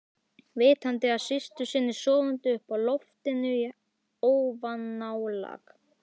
Vitandi af systur sinni sofandi uppi á loftinu í ofanálag?